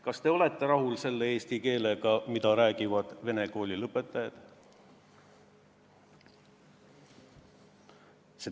Kas te olete rahul selle eesti keelega, mida räägivad vene kooli lõpetajad?